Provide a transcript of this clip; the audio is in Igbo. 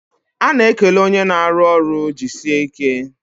A na-ekele onye na-arụ ọrụ "jisie ike"